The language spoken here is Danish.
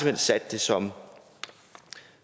hen sat det som